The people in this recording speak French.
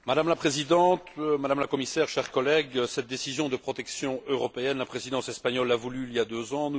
Madame la Présidente, Madame la Commissaire, chers collègues, cette décision de protection européenne, la Présidence espagnole l'a voulue il y a deux ans.